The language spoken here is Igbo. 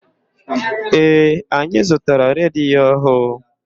Ee, anyị zụtara redio ọhụụ.